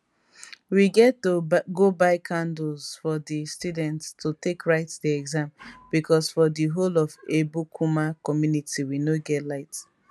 we get to go buy candles for di students to take write di exam becos for di whole of ebukuma community we no get light